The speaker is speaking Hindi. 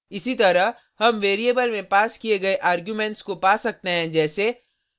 इसी तरह हम वेरिएबल में पास किये गये आर्गुमेंट्स को पा सकते हैं जैसे